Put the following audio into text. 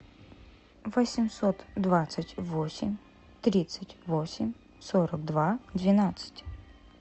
восемьсот двадцать восемь тридцать восемь сорок два двенадцать